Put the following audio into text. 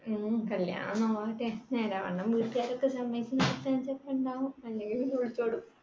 ങ്‌ഹും കല്യാണം നേരാം വണ്ണം വീട്ടുകാരൊക്കെ സമ്മതിച്ചു ഒക്കെ ഉണ്ടാവും, അല്ലെങ്കിൽ ഒളിച്ചോടും